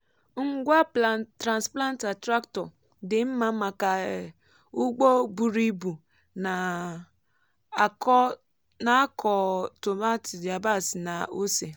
ngwa transplanter tractor dị mma maka um ugbo buru ibu na-akọ tomaatị yabasị na ose. um